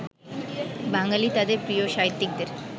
বাঙালি তাঁদের প্রিয় সাহিত্যিকদের